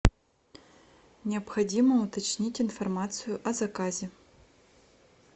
необходимо уточнить информацию о заказе